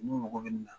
N'u mago bɛ nin na